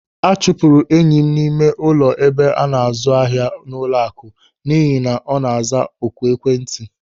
A chụpụrụ enyi m n'ime ụlọ ebe ana-azụ ahịa n'ụlọaku n'ihi na ọ na-aza oku n'ekwentị.